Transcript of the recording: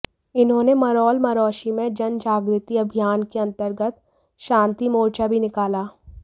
इन्होने मरोल मरोशी में जनजागृति अभियान के अंतर्गत शांति मोर्चा भी निकाला